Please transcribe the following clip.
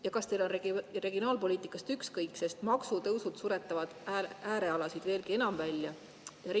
Ja kas teil on regionaalpoliitikast ükskõik, sest maksutõusud suretavad äärealasid veelgi enam välja?